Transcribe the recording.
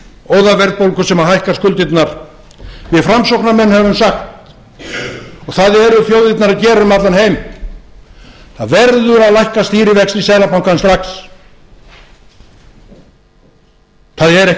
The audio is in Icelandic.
óðaverðbólgu sem hækka skuldirnar við framsóknarmenn höfum sagt og það eru þjóðirnar að gera um allan heim það verður að lækka stýrivexti seðlabankans strax það er ekkert